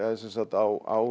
á